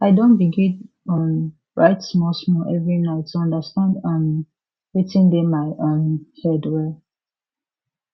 i don begin um write small small every night to understand um wetin dey my um head well